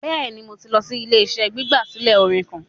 Bẹẹni, Mo ti lọ si ile-iṣẹ gbigbasilẹ orin kan